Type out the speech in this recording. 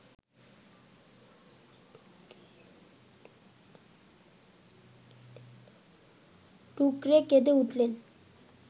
ডুকরে কেঁদে উঠলেন